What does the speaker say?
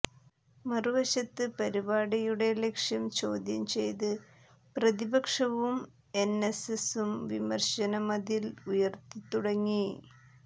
മറുവശത്ത് പരിപാടിയുടെ ലക്ഷ്യം ചോദ്യം ചെയ്ത് പ്രതിപക്ഷവും എൻഎസ്എസ്സും വിമർശന മതിൽ ഉയർത്തിത്തുടങ്ങി